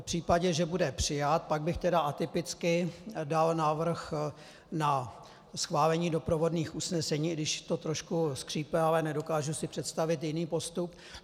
V případě, že bude přijat, pak bych tedy atypicky dal návrh na schválení doprovodných usnesení, i když to trošku skřípe, ale nedokážu si představit jiný postup.